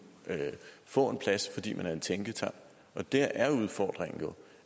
få en plads fordi man repræsenterer en tænketank der er udfordringen jo